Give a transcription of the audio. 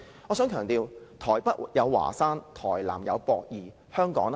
我想強調，台北有華山，台南有駁二，那麼香港呢？